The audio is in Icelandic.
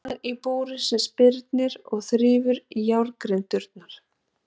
Mann í búri sem spyrnir og þrífur í járngrindurnar.